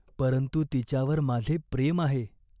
परंतु तिच्यावर माझे प्रेम आहे.